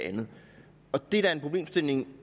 det andet og det er da en problemstilling